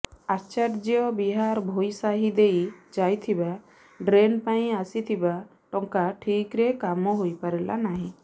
ଆଚାର୍ଯ୍ୟ ବିହାର ଭୋଇ ସାହି ଦେଇ ଯାଇଥିବା ଡ୍ରେନ୍ ପାଇଁ ଆସିଥିବା ଟଙ୍କା ଠିକ୍ରେ କାମ ହୋଇପାରିଲା ନାହିଁ